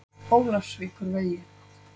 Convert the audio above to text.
Ólafsvíkurvegi